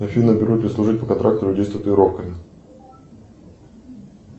афина берут ли служить по контракту людей с татуировками